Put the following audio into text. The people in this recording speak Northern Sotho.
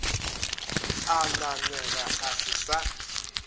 a ngangega a se sa